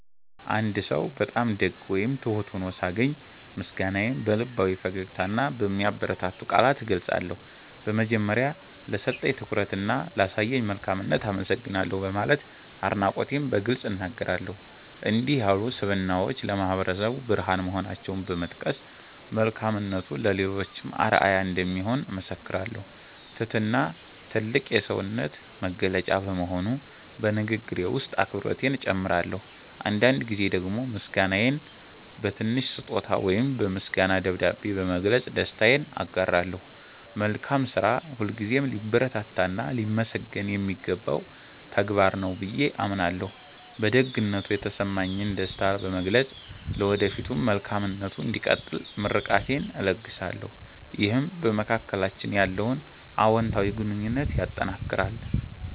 አንድ ሰው በጣም ደግ ወይም ትሁት ሆኖ ሳገኝ፣ ምስጋናዬን በልባዊ ፈገግታና በሚያበረታቱ ቃላት እገልጻለሁ። በመጀመሪያ፣ "ለሰጠኝ ትኩረትና ላሳየኝ መልካምነት አመሰግናለሁ" በማለት አድናቆቴን በግልጽ እናገራለሁ። እንዲህ ያሉ ስብዕናዎች ለማህበረሰቡ ብርሃን መሆናቸውን በመጥቀስ፣ መልካምነቱ ለሌሎችም አርአያ እንደሚሆን እመሰክራለሁ። ትህትና ትልቅ የሰውነት መገለጫ በመሆኑ፣ በንግግሬ ውስጥ አክብሮቴን እጨምራለሁ። አንዳንድ ጊዜ ደግሞ ምስጋናዬን በትንሽ ስጦታ ወይም በምስጋና ደብዳቤ በመግለጽ ደስታዬን አጋራለሁ። መልካም ስራ ሁልጊዜም ሊበረታታና ሊመሰገን የሚገባው ተግባር ነው ብዬ አምናለሁ። በደግነቱ የተሰማኝን ደስታ በመግለጽ፣ ለወደፊቱም መልካምነቱ እንዲቀጥል ምርቃቴን እለግሳለሁ። ይህም በመካከላችን ያለውን አዎንታዊ ግንኙነት ያጠናክራል።